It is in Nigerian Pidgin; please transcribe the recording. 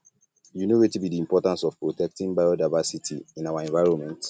you know wetin be di importance of protecting biodiversity in our environment